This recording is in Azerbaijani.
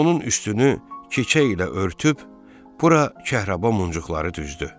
Onun üstünü keçə ilə örtüb bura kəhraba muncuqları düzdü.